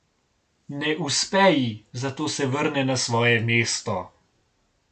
Ne uspe ji, zato se vrne na svoje mesto.